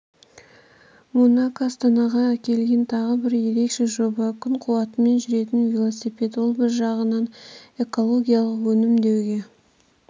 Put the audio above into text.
монако астанаға әкелген тағы бір ерекше жоба күн қуатымен жүретін вилосипед ол бір жағынан экологиялық өнім деуге